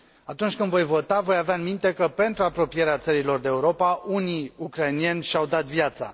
Atunci când voi vota, voi avea în minte că, pentru apropierea țării lor de Europa, unii ucraineni și au dat viața.